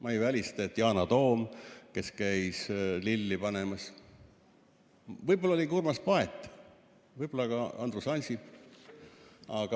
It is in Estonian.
Ma ei välista, et Yana Toom, kes käis lilli panemas, aga võib-olla Urmas Paet, võib-olla ka Andrus Ansip.